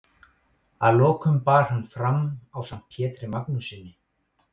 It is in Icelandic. Að lokum bar hann fram ásamt Pjetri Magnússyni